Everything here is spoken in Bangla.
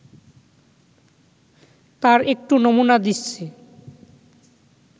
তার একটু নমুনা দিচ্ছি